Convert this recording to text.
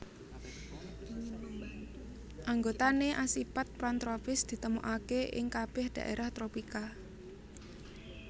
Anggotané asipat pantropis ditemokaké ing kabèh dhaérah tropika